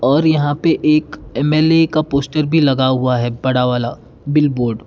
और यहां पे एक एम_एल_ए का पोस्टर भी लगा हुआ है बड़ा वाला बिलबोर्ड --